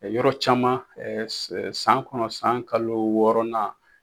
Yɔrɔ caman san kɔnɔ san kalo wɔɔrɔnan